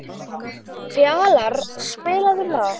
Fjalarr, spilaðu lag.